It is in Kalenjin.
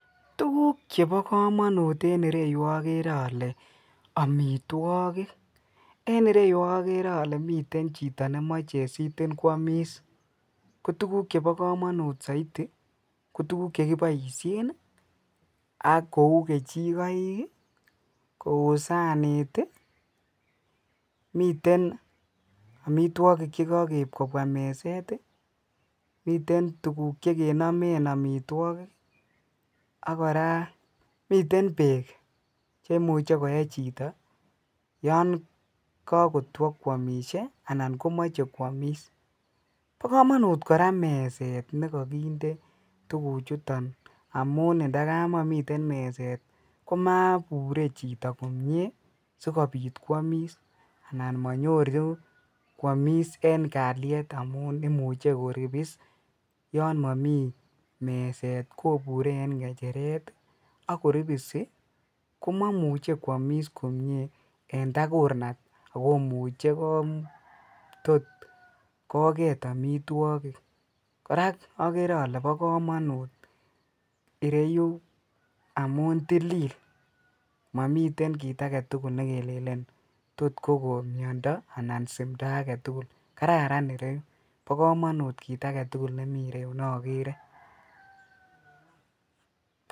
Tuguk chebo kamanut en ireyu koagere ale amitwogik. En ireyu agere ale miten chito nemache sitin kwomis. Kotuguk chebo kamanut saiti ko tuguk che kiboisien ak kou kechikoik, kou sanit, miten amitwogik che kakeib kobwa meset, miten tuguk chekenomen amitwogik ak kora miten beek che imuche koe chito yon kakitwa kwomisie anan komoche kwamis. Bo kamanut kora meset ne kakinde tuguchuton amun indakamakomiten meset komabure chito komie sigopit kwamis anan manyoru kwamis eng kalyet amum imuche koripis yonmami meset kobure eng ngechetet ak koripisi komamuche kwamis komie eng tagurnat ak komuche tot koget amitwogik. Kora agere alebokamanut ireyu amun tilil mamiten kit agetugul ne kilenen tot kogon miondo anan simndo agetugul. Kararan ireyu. Bo kamanut kit agetugul nogere.